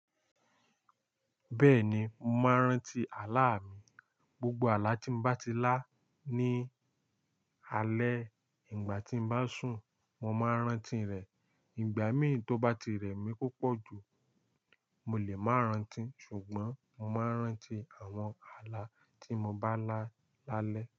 Bẹ́ẹ̀ni, mo máa ń rántí àlá mi. Gbogbo àlá tí mo bá ti lá ní alẹ́, ìgbà tí mo bá sùn, mo máa ń rántí rẹ̀. Ìgbà mì tó bá ti rẹ̀ mí púpọ̀ jù, mo lè máa rántí, ṣùgbọ́n mo máa ń rántí àwọn àlá tí mo bá lá lálẹ́